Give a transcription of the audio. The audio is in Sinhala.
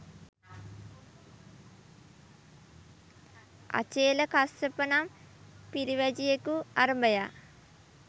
අචේලකස්සප නම් පිරිවැජියෙකු අරභයා